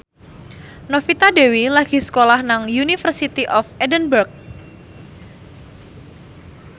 Novita Dewi lagi sekolah nang University of Edinburgh